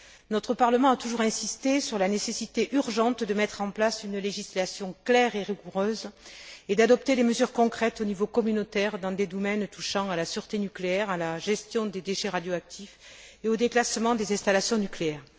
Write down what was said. Notre Parlement a toujours insisté sur la nécessité urgente de mettre en place une législation claire et rigoureuse et d'adopter des mesures concrètes au niveau communautaire dans des domaines touchant à la sûreté nucléaire, à la gestion des déchets radioactifs et au déclassement des installations nucléaires.